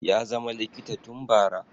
ya zama likita tun bara